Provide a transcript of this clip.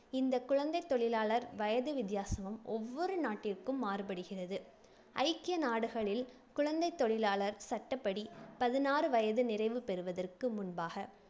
இந்த குழந்தைத் தொழிலாளர் வயது வித்தியாசமும் ஒவ்வொரு நாட்டிற்கும் மாறுபடுகிறது. ஐக்கிய நாடுகளில் குழந்தைத் தொழிலாளர் சட்டப்படி பதினாறு வயது நிறைவு பெறுவதற்கு முன்பாக